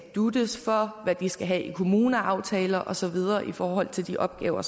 dutes for hvad de skal have i kommuneaftaler og så videre i forhold til de opgaver